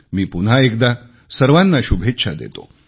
मी पुन्हा एकदा सर्वांना शुभेच्छा देतो